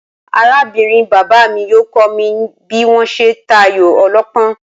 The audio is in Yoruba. Aráb̀nrin bàbá mi yóò kó̩ mi bí wó̩n s̩e ń ta ayò o̩ló̩pó̩n